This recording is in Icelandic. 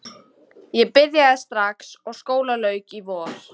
Ég byrjaði strax og skóla lauk í vor.